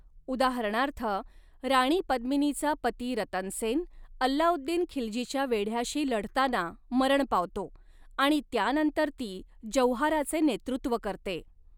उदाहरणार्थ, राणी पद्मिनीचा पती रतन सेन अल्लाउद्दीन खिल्जीच्या वेढ्याशी लढताना मरण पावतो आणि त्यानंतर ती जौहाराचे नेतृत्व करते.